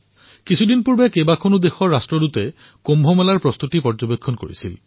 কিছুদিন পূৰ্বে বিভিন্ন দেশৰ ৰাষ্ট্ৰদূতসকলে কুম্ভৰ প্ৰস্তুতি পৰিলক্ষিত কৰিছে